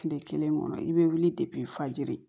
Tile kelen kɔnɔ i bɛ wuli fajiri